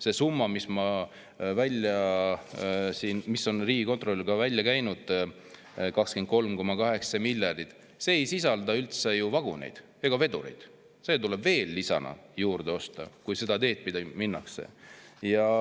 See summa, mis ma ütlesin ja mille riigikontrolör on välja käinud, on 23,8 miljardit, aga see ei sisalda ju üldse vaguneid ja vedureid, need tuleb veel lisaks juurde osta, kui seda teed minnakse.